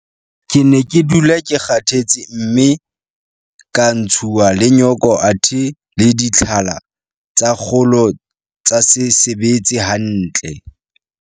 Ke ne ke dula ke kgathetse mme ka ntshuwa le nyoko athe le ditlhala tsa kgolo tsa se sebetse hantle.